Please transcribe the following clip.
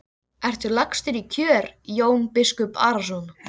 Ertu lagstur í kör Jón biskup Arason?